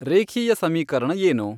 ರೇಖೀಯ ಸಮೀಕರಣ ಏನು